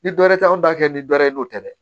Ni dɔɛrɛ tɛ anw ta kɛ ni dɔ ye n'o tɛ dɛ